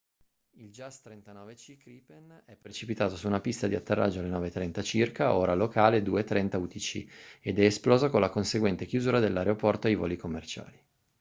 il jas 39c gripen è precipitato su una pista di atterraggio alle 9:30 circa ora locale 02:30 utc ed è esploso con la conseguente chiusura dell’aeroporto ai voli commerciali